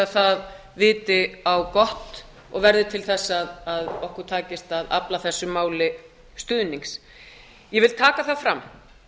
það viti á gott og verði til þess að okkur takist að afla þessu máli stuðnings ég vil taka það fram